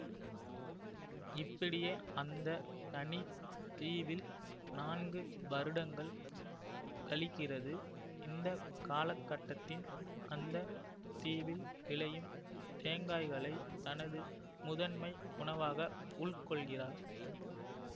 இப்படியே அந்த தனி தீவில் நான்கு வருடங்கள் கழிக்கிறது இந்த காலகட்டத்தின் அந்த தீவில் விளையும் தேங்காய்களை தனது முதன்மை உணவாக உள்கொள்கிறார்